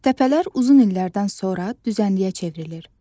Təpələr uzun illərdən sonra düzənliyə çevrilir.